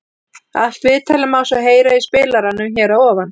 Allt viðtalið má svo heyra í spilaranum hér að ofan.